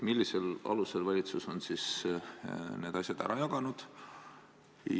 Millisel alusel valitsus on need asjad ära jaganud?